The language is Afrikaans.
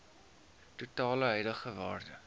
totale huidige waarde